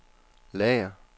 lager